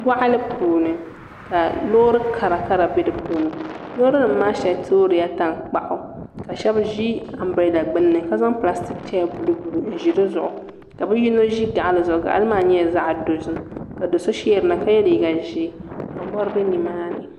Boɣali puuni ka loori karakara bɛ di puuni loori nim maa shɛli toorila tankpaɣu ka shab ʒi anbirɛla gbunni ka zaŋ pilastik chɛya buluu buluu n ʒi di zuɣu ka bi yino ʒi gaɣali zuɣu gaɣali maa nyɛla zaɣ dozim ka do so sheerina ka yɛ liiga ʒiɛ ka mori bɛ nimaani